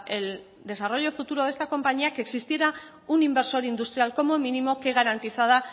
el desarrollo futuro de esta compañía que existiera un inversor industrial como mínimo que garantizara